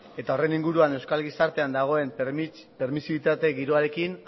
eta horren inguruan euskal gizartean dagoen permisibitate giroarekin